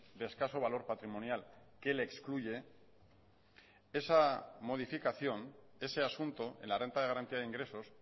de escaso valor patrimonial que le excluye esa modificación ese asunto en la renta de garantía de ingresos